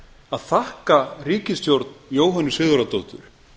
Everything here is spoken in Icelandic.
að þakka ríkisstjórn jóhönnu sigurðardóttur